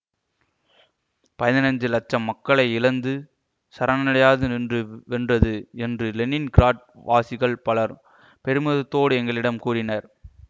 பதினைந்து இலட்சம் மக்களை இழந்து சரணடையாது நின்று வென்றது என்று லெனின் கிராட் வாசிகள் பலர் பெருமிதத்தோடு எங்களிடம் கூறினர்